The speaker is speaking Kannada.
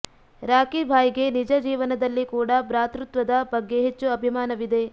ರಾಕಿ ಭಾಯ್ಗೆ ನಿಜ ಜೀವನದಲ್ಲಿ ಕೂಡ ಭ್ರಾತೃತ್ವದ ಬಗ್ಗೆ ಹೆಚ್ಚು ಅಭಿಮಾನವಿದೆ